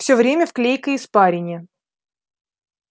всё время в клейкой испарине